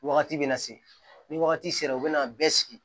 Wagati bɛ na se ni wagati sera u bɛna bɛɛ sigi